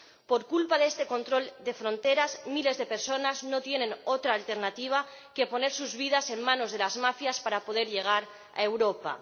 Por culpa de este control de fronteras, miles de personas no tienen otra alternativa que poner sus vidas en manos de las mafias para poder llegar a Europa.